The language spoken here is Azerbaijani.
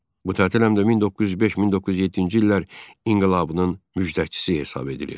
Bu tətil həm də 1905-1907-ci illər inqilabının müjdəçisi hesab edilir.